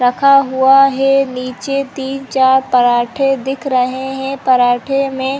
रखा हुआ है नीचे तीन चार पराठे दिख रहै हैं पराठे में --